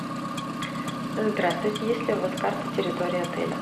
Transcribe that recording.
здравствуйте есть ли у вас карта территории отеля